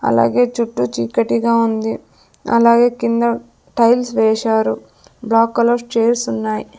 అలాగే చుట్టూ చీకటిగా ఉంది అలాగే కింద టైల్స్ వేశారు బ్లాక్ కలర్ చైర్స్ ఉన్నాయి.